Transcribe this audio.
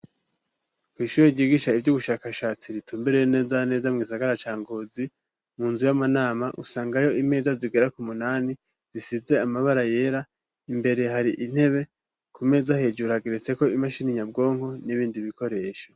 Kw'ishure ryigisha ivy'ubushakashatsi ritumbere nezana neza mu gisagara ca Ngozi, mu nzu y'amanama usangayo imeza zigera ku munani zisize amabara yera, imbere hari intebe, kumeza hejuru hageretseko imashini nyabwonko n'ibindi bikoresho.